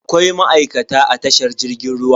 Akwai ma'aikata a tashar jirgin ruwa.